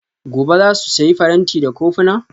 Gobe ​​za su sayi faranti da kofuna?